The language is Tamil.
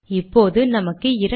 சேமிக்கிறேன்